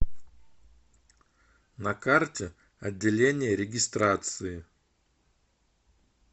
на карте отделение регистрации